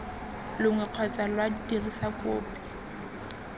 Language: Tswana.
longwe kgotsa lwa dirisa kopi